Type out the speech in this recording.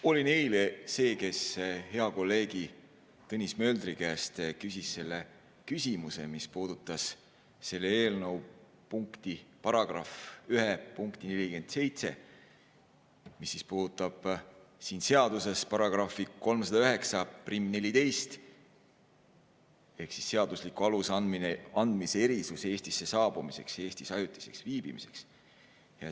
Olin eile see, kes hea kolleegi Tõnis Möldri käest küsis küsimuse, mis puudutas selle eelnõu § 1 punkti 47, mis puudutab siin seaduses § 30914 ehk seadusliku aluse andmise erisusi Eestisse saabumiseks ja Eestis ajutiseks viibimiseks.